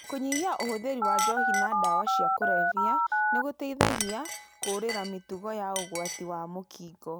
Kũnyihia ũhũthĩri wa njohi na dawa cia kurebia nĩgũteithagia kũũrĩra mĩtugo ya ũgwati wa mũkigo.